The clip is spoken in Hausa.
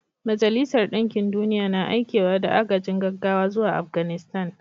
Majalisar Dinkin Duniya na aikewa da agajin gaggawa zuwa Afganistan